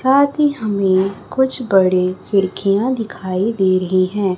साथ ही हमें कुछ बड़े खिड़कियां दिखाई दे रही हैं।